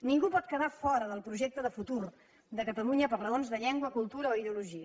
ningú pot quedar fora del projecte de futur de catalunya per raons de llengua cultura o ideologia